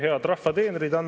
Head rahva teenrid!